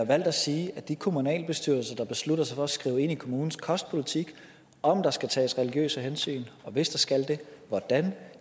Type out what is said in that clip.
valgt at sige at de kommunalbestyrelser der beslutter sig for at skrive ind i kommunens kostpolitik om der skal tages religiøse hensyn og hvis der skal det hvordan